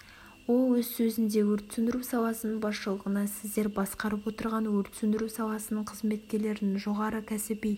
ол өз сөзінде өрт сөндіру саласының басшылығына сіздер басқарып отырған өрт сөндіру саласының қызметкерлерінің жоғары кәсіби